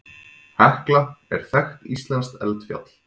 Hekla er þekkt íslenskt eldfjall.